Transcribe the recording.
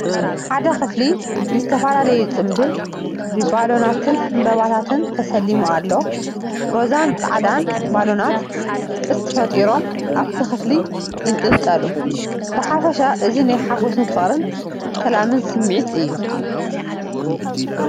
ሓደ ክፍሊ ንዝተፈላለዩ ጽምብል ብባሎንን ዕምባባታትን ተሰሊሙ ኣሎ። ሮዛን ጻዕዳን ባሎናት ቅስት ፈጢሮም ኣብቲ ክፍሊ ይንጠልጠሉ። ብሓፈሻ እዚ ናይ ሓጎስን ፍቕርን ሰላምን ስምዒት እዩ።